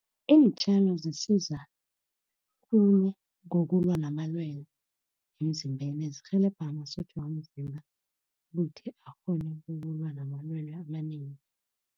Iintjalo zisiza khulu ngokulwa namalwele emzimbeni. Zirhelebha amasotja womzimba ukuthi akghone ukulwa namalwele amanengi.